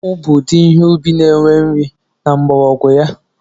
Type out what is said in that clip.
Akpụ bụ udi ihe ubi na enwe nri na mgbọrọgwụ ya